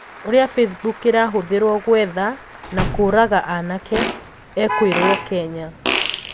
ũria Facebook irahũthirwo gũetha na kũũraga anake "ekoirwo Kenya"